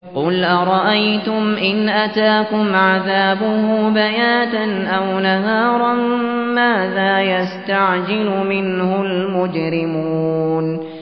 قُلْ أَرَأَيْتُمْ إِنْ أَتَاكُمْ عَذَابُهُ بَيَاتًا أَوْ نَهَارًا مَّاذَا يَسْتَعْجِلُ مِنْهُ الْمُجْرِمُونَ